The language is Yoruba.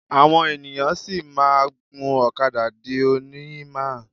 Àwọn ènìyàn sì máa ń gun ọ̀kadà di òní. máà ń